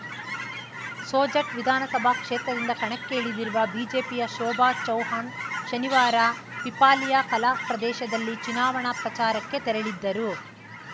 ಸೋಜಟ್‌ ವಿಧಾನಸಭಾ ಕ್ಷೇತ್ರದಿಂದ ಕಣಕ್ಕೆ ಇಳಿದಿರುವ ಬಿಜೆಪಿಯ ಶೋಭಾ ಚೌಹಾಣ್‌ ಶನಿವಾರ ಪೀಪಾಲಿಯಾ ಕಲಾ ಪ್ರದೇಶದಲ್ಲಿ ಚುನಾವಣಾ ಪ್ರಚಾರಕ್ಕೆ ತೆರಳಿದ್ದರು